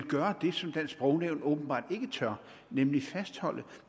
gøre det som dansk sprognævn åbenbart ikke tør nemlig fastholde